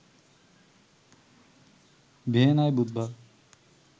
ভিয়েনায় বুধবার